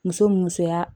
Muso musoya